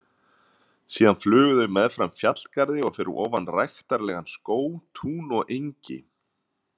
Síðan flugu þau meðfram fjallgarði og fyrir ofan ræktarlegan skóg, tún og engi.